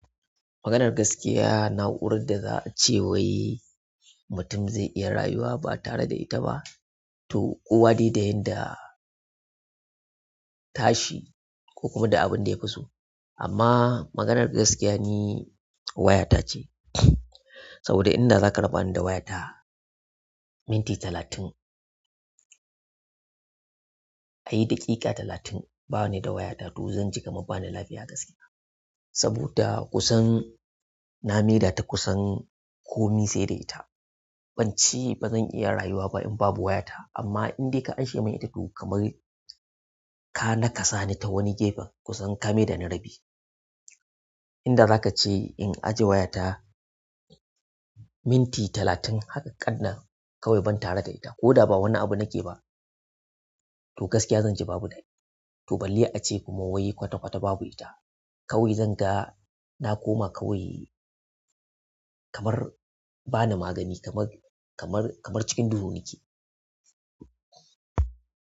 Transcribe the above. Maganar gaskiya, na'urar da za a ce wai mutum zai iya rayuwa ba tare da ita ba, to kowa dai da yanda tashi ko kuma da abin da ya fi so. Amma maganar gaskiya ni waya ta ce. Saboda inda za ka raba ni da waya ta minti talatin, kayi daƙiƙa talatin ba ni da waya ta to zan ji kamar ba ni lafiya gaskiya. Saboda kusan na maida ta kusan komai sai da ita. Ban ce ba zan iya rayuwa ba in babu waya ta, amma in dai ka ashe min ita to kamar ka naƙasa ni ta wani gefe kusan kame da ni rabi. Inda za ka ce in ajiye waya ta minti talatin haka ƙannan kawai ban tare da ita ko da ba wani abu na ke ba to gaskiya zan ji babu dani. To balle a ce kuma wai kwata-kwata babu ita. Kawai zanga na koma kawai kamar bana ma gani kamar kamar cikin duhu nake.